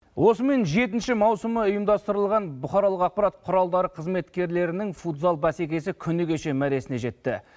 осымен жетінші маусымы ұйымдастырылған бұқаралық ақпарат құралдары қызметкерлерінің футзал бәсекесі күні кеше мәресіне жетті